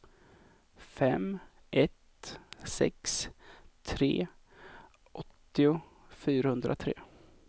fem ett sex tre åttio fyrahundratre